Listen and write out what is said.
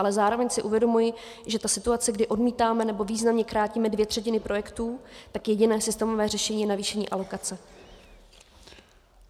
Ale zároveň si uvědomuji, že ta situace, kdy odmítáme nebo významně krátíme dvě třetiny projektů, tak jediné systémové řešení je navýšení alokace.